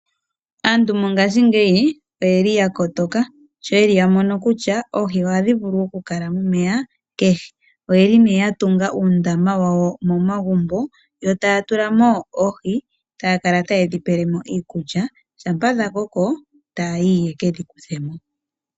Aantu mongaashingeyi oye li ya kotoka sho yeli ya mono kutya oohi ohadhi vulu okukala momeya kehe, oye li ya tunga uundama wawo momagumbo yo taya tulamo oohi taya kala taye dhi pelemo iikulya uuna dha koko taya yi yekedhi kuthemo.